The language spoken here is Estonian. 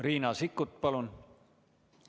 Riina Sikkut, palun!